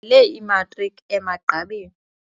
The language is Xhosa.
le imatriki emagqabini.